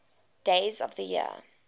days of the year